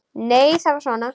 Nei, það var svona!